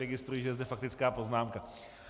Registruji, že je zde faktická poznámka.